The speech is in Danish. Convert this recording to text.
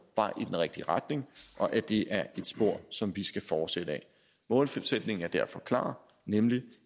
vej i den rigtige retning og at det er et spor som vi skal fortsætte ad målsætningen er derfor klar nemlig